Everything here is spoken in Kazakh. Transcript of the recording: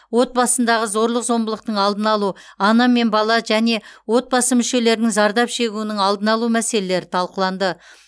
отбасындағы зорлық зомбылықтың алдын алу ана мен бала және отбасы мүшелерінің зардап шегуінің алдын алу мәселелері талқыланды